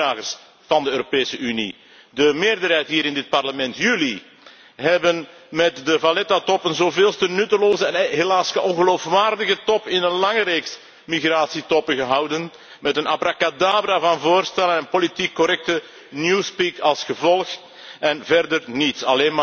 De gezagsdragers van de Europese Unie, de meerderheid hier in het Parlement, jullie hebben met de Valetta top een zoveelste nutteloze en helaas ongeloofwaardige top in een lange reeks migratietoppen gehouden met een abracadabra van voorstellen en politiek correcte newspeak als gevolg en verder niets.